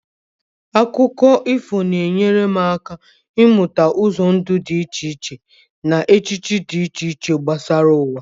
Akụkọ ifo na-enyere m aka ịmụta ụzọ ndụ dị iche iche na echiche dị iche iche gbasara ụwa.